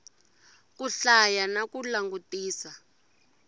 ku hlaya na ku langutisa